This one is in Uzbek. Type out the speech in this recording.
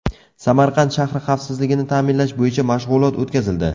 Samarqand shahri xavfsizligini ta’minlash bo‘yicha mashg‘ulot o‘tkazildi.